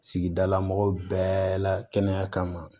Sigidala mɔgɔw bɛɛ la kɛnɛya kama